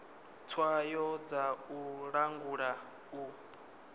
tswayo dza u langula u